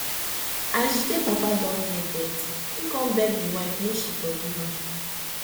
as jide papa don near death im come beg im wife make she forgive am